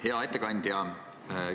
Hea ettekandja!